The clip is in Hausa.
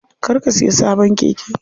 Kar ka siya sabon keke.